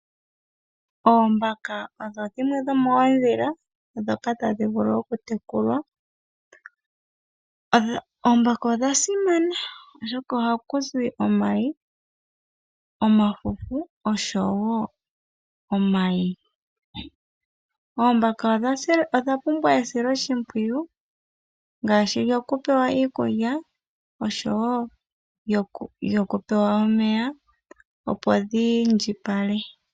Oombaka odho dhimwe dhomoodhila dhoka tadhi vulu okutekulwa oombaka odha simana oshoka ohakuzi omayi, omafufu oshowo omayi oombaka odha pumbwa esiloshipwiyu ngaashi lyopewa iikulya osho wo lyoku pewa omeya opo dhi indjipale.